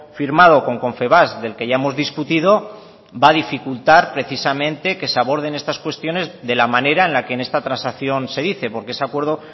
firmado con confebask del que ya hemos discutido va a dificultar precisamente que se aborden estas cuestiones de la manera en la que en esta transacción se dice porque ese acuerdo